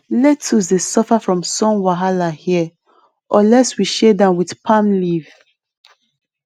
lettuce dey suffer from sun wahala here unless we shade am with palm leaf